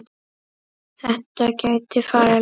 Þetta gæti farið langt.